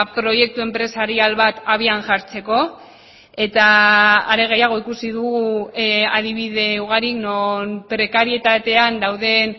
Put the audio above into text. proiektu enpresarial bat abian jartzeko eta are gehiago ikusi dugu adibide ugari non prekarietatean dauden